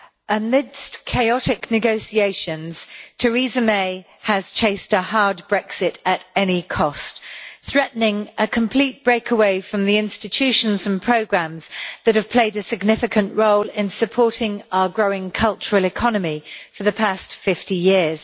Mr President, amidst chaotic negotiations, Theresa May has chased a hard Brexit at any cost, threatening a complete breakaway from the institutions and programmes that have played a significant role in supporting our growing cultural economy for the past 50 years.